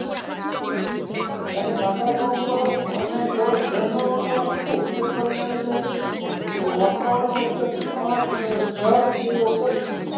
કારણ કે અને ગરમ ઝરણાંઓનો આખું ઉપયોગ કરીને એણે જે વાતાવરણ વચ્ચે પાંચ હજાર કેરીઓ ઉગાડી છે.